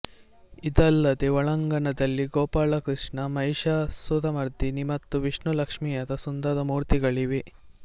ಇದಲ್ಲದೇ ಒಳಾಂಗಣದಲ್ಲಿ ಗೋಪಾಲಕೃಷ್ಣ ಮಹಿಷಾಸುರಮರ್ದಿನಿ ಮತ್ತು ವಿಷ್ಣುಲಕ್ಷ್ಮಿಯರ ಸುಂದರ ಮೂರ್ತಿಗಳಿವೆ